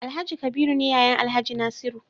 Alhaji kabiru ne yayan alhaji nasiru